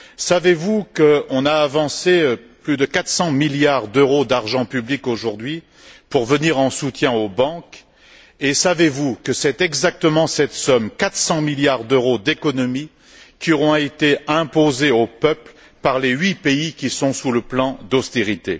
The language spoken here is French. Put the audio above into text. Savez vous qu'on a avancé plus de 400 milliards d'euros d'argent public aujourd'hui pour venir en soutien aux banques et savez vous que c'est exactement cette somme, 400 milliards d'euros d'économies, qui auront été imposées aux peuples par les huit pays qui sont sous le plan d'austérité?